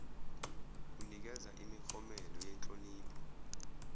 onikeza imiklomelo yenhlonipho